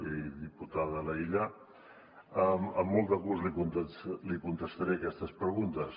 i diputada laïlla amb molt de gust li contestaré aquestes preguntes